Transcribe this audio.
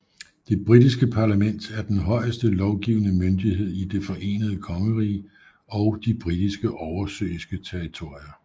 Det britiske parlament er den højeste lovgivende myndighed i Det forenede kongerige og de britiske oversøiske territorier